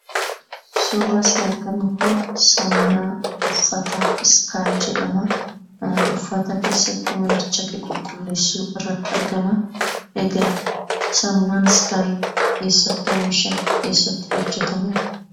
Suurri asii argaa jirru Kun, saamunaa uffataa skaayi jedhama. Uffata keessattuu manachake qululleessuu irratti argamaa. Egaa saamunaan skaayi eessatti oomishama? eessatti hojjetamee?